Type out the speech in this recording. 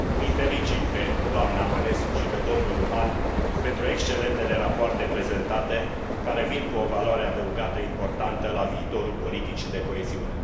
Îi felicit pe doamna Mănescu și pe domnul Luhan pentru excelentele rapoarte prezentate, care vin cu o valoare adăugată importantă la viitorul politicii de coeziune.